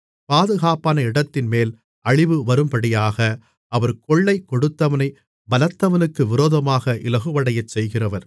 பாதுகாப்பான இடத்தின்மேல் அழிவு வரும்படியாக அவர் கொள்ளை கொடுத்தவனைப் பலத்தவனுக்கு விரோதமாக இலகுவடையச் செய்கிறவர்